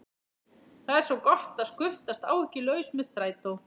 Það er svo gott að skutlast áhyggjulaus með strætó.